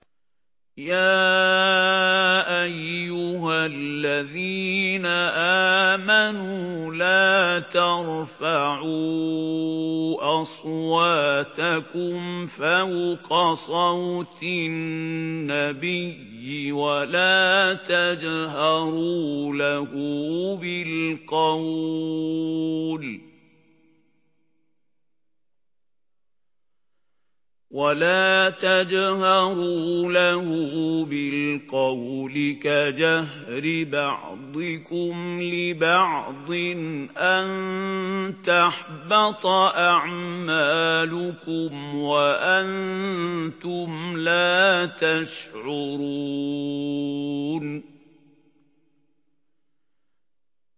يَا أَيُّهَا الَّذِينَ آمَنُوا لَا تَرْفَعُوا أَصْوَاتَكُمْ فَوْقَ صَوْتِ النَّبِيِّ وَلَا تَجْهَرُوا لَهُ بِالْقَوْلِ كَجَهْرِ بَعْضِكُمْ لِبَعْضٍ أَن تَحْبَطَ أَعْمَالُكُمْ وَأَنتُمْ لَا تَشْعُرُونَ